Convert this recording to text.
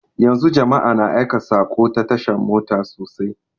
Yanzu jama'a na aika saƙo ta tasha mota sosai